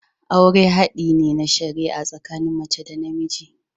Aure hadi ne na shari'a tsakanin mace da namiji.